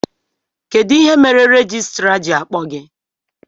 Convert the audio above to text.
Kedụ ihe mere rejistra ji akpọ gị?